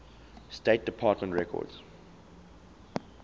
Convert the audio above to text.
state department records